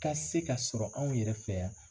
Ka se ka sɔrɔ an yɛrɛ fɛ yan.